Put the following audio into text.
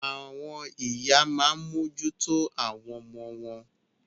Àwọn ìyá a máa mójú tó àwọn ọmọ wọn.